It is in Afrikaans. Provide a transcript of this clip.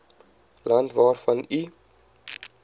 land waarvan u